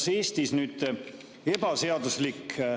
Ja teine küsimus.